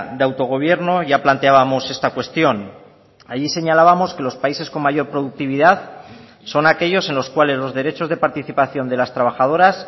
de autogobierno ya planteábamos esta cuestión allí señalábamos que los países con mayor productividad son aquellos en los cuales los derechos de participación de las trabajadoras